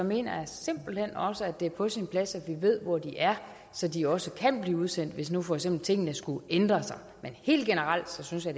mener jeg simpelt hen også at det er på sin plads at vi ved hvor de er så de også kan blive udsendt hvis nu for eksempel tingene skulle ændre sig men helt generelt synes jeg